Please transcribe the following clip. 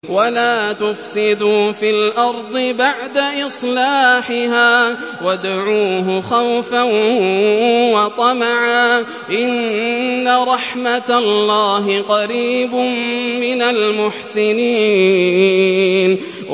وَلَا تُفْسِدُوا فِي الْأَرْضِ بَعْدَ إِصْلَاحِهَا وَادْعُوهُ خَوْفًا وَطَمَعًا ۚ إِنَّ رَحْمَتَ اللَّهِ قَرِيبٌ مِّنَ الْمُحْسِنِينَ